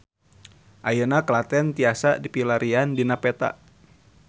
Ayeuna Klaten tiasa dipilarian dina peta